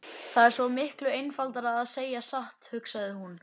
Það er svo miklu einfaldara að segja satt, hugsaði hún.